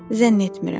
Zənn etmirəm.